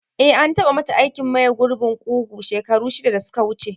Eh, an tabamata aikin maye gurbin kugu shekaru shida da suka wuce.